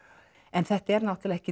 en þetta er náttúrulega ekki